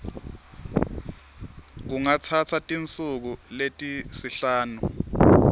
kungatsatsa tinsuku letisihlanu